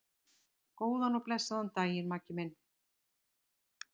Góðan og blessaðan daginn, Maggi minn.